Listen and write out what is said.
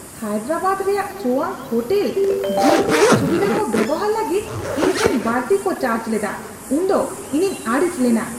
ᱦᱟᱭᱫᱨᱟᱵᱟᱫ ᱨᱮᱭᱟᱜ ᱥᱳᱣᱟᱝᱠ hotel gym ᱨᱮᱭᱟᱜ ᱥᱩᱵᱤᱫᱷᱟ ᱠᱚ ᱵᱮᱣᱦᱟᱨ ᱞᱟᱹᱜᱤᱫ ᱤᱧᱴᱷᱮᱱ ᱵᱟᱹᱲᱛᱤ ᱠᱚ ᱪᱟᱨᱡᱽ ᱞᱮᱫᱟ ᱩᱱᱫᱚ ᱤᱧᱤᱧ ᱟᱹᱲᱤᱥ ᱞᱮᱱᱟ